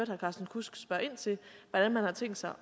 herre carsten kudsk spørge ind til hvordan man har tænkt sig